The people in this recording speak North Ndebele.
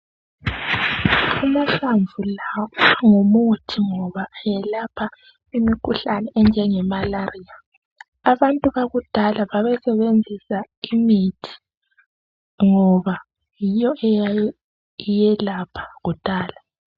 Amahlamvu lawa ayimuthi ngoba elapha imikhuhlane enje ngemalaliya. Abantu bakudala babesebenzisa imithi ngoba yiyo eyayelapha kudala.